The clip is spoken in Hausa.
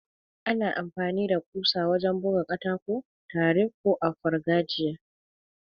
Ana amfani da kusa wajen buga katako tare ko a fargajiya.